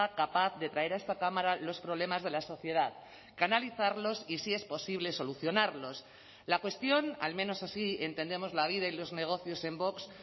capaz de traer a esta cámara los problemas de la sociedad canalizarlos y si es posible solucionarlos la cuestión al menos así entendemos la vida y los negocios en vox